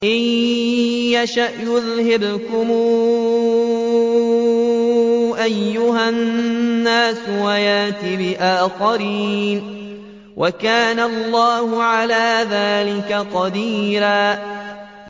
إِن يَشَأْ يُذْهِبْكُمْ أَيُّهَا النَّاسُ وَيَأْتِ بِآخَرِينَ ۚ وَكَانَ اللَّهُ عَلَىٰ ذَٰلِكَ قَدِيرًا